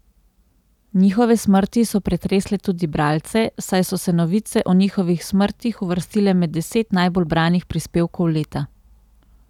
Njihove smrti so pretresle tudi bralce, saj so se novice o njihovih smrtih uvrstile med deset najbolj branih prispevkov leta.